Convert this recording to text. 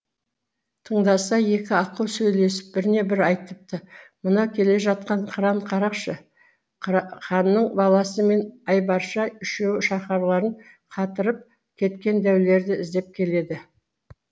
тыңдаса екі аққу сөйлесіп біріне бірі айтыпты мынау келе жатқан қыран қарақшы ханның баласы мен айбарша үшеуі шаһарларын қатырып кеткен дәулерді іздеп келеді